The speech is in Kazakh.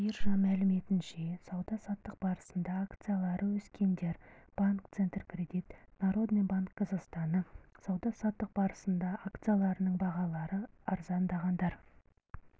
биржа мәліметінше сауда-саттық барысында акциялары өскендер банк центркредит народный банк казахстана сауда-саттық барысында акцияларының бағалары арзандағандар